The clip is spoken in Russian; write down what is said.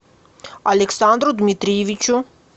александру дмитриевичу